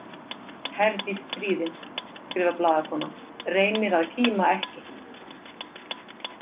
Herdís stríðin, skrifar blaðakonan, reynir að kíma ekki.